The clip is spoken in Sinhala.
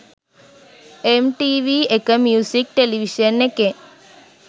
එම්ටීවී එක මියුසික් ටෙලිවිෂන් එකෙන්